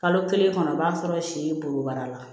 Kalo kelen kɔnɔ i b'a sɔrɔ si bobara la